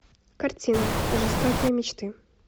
картина жестокие мечты